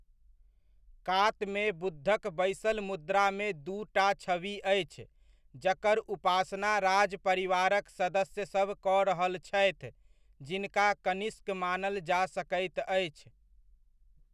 कातमे बुद्धक बैसल मुद्रामे दूटा छवि अछि जकर उपासना राजपरिवारक सदस्यसभ कऽ रहल छथि जिनका कनिष्क मानल जा सकैत अछि।